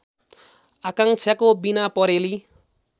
आकाङ्क्षाको बिना परेलि